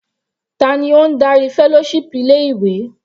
Ta ni ó ń darí fellowship ilé ìwé?